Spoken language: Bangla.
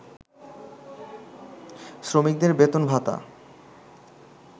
শ্রমিকদের বেতনভাতা